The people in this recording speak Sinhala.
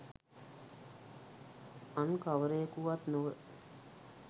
අන්කවරෙකු වත් නොව